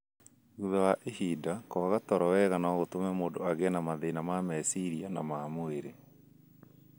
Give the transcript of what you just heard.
Thutha wa ihinda, kwaga toro wega no gũtũme mũndũ agĩe na mathĩna ma meciria na ma mwĩrĩ.